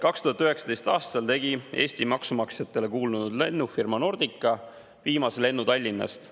2019. aastal tegi Eesti maksumaksjatele kuulnud lennufirma Nordica viimase lennu Tallinnast.